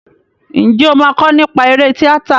Ǹjẹ́ o máa kọ nípa eré tíátà?